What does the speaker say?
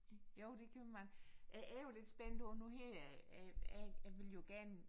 Jo det kan man jeg er jo lidt spændt på nu her jeg jeg jeg vil jo gerne